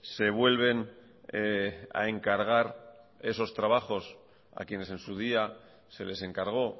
se vuelven a encargar esos trabajos a quienes en su día se les encargó